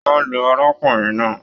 Wọn lu arákùnrin náà.